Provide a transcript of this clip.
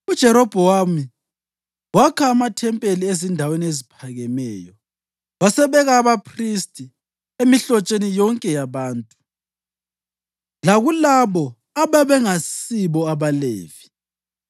UJerobhowamu wakha amathempeli ezindaweni eziphakemeyo wasebeka abaphristi emihlotsheni yonke yabantu, lakulabo ababengasibo abaLevi.